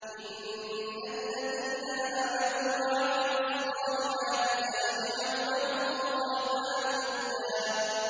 إِنَّ الَّذِينَ آمَنُوا وَعَمِلُوا الصَّالِحَاتِ سَيَجْعَلُ لَهُمُ الرَّحْمَٰنُ وُدًّا